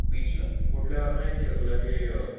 बिचला कुठल्या वाले माहिती का तुला?